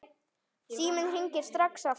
Síminn hringir strax aftur.